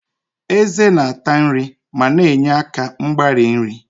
Ezé na-ata nri ma na-enye aka mgbari nri.